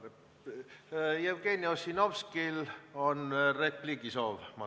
Ma saan aru, et Jevgeni Ossinovskil on repliigi soov.